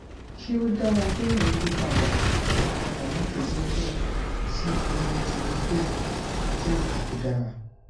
ṣé ó dára kéèyàn yí padà padà láti zetia sí ezetimibe jẹ́ nǹkan tó dára